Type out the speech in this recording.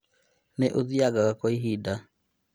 Nĩ ũthiangaga kwa kahinda